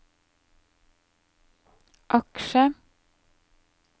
aksjer